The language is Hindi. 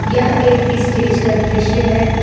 यह एक इस्टेज का दृश्य है।